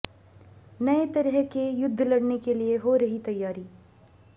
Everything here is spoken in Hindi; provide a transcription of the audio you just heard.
नए तरह के युद्ध लड़ने के लिए हो रही तैयारी